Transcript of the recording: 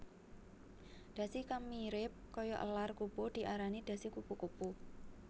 Dhasi kang mirip kaya elar kupu diarani dhasi kupu kupu